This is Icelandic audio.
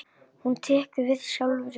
Hún tekur við sjálfri sér.